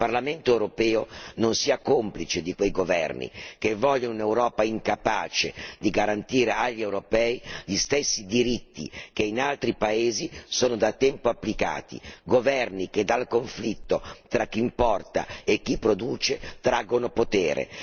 Il Parlamento europeo non sia complice di quei governi che vogliono un'Europa incapace di garantire agli europei gli stessi diritti che in altri paesi sono da tempo applicati, governi che dal conflitto tra chi importa e chi produce traggono potere.